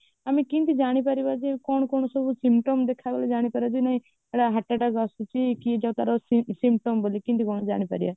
ଆମେ କେମିତି ଜାଣିପାରିବା ଯେ କଣ କଣ ସବୁ symptom ଦେଖାଗଲେ ଜାଣିପାରିବା ଯେ ନାଇଁ ଏଇଟା heart attack ଆସୁଛି କି ଯୋଉ ତାର symptom ବୋଲି କେମିତି କଣ ଜାଣିପାରିବା